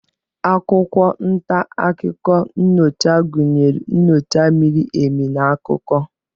akwụkwọ nta akụkọ nyocha gụnyere nyocha miri emi na akụkọ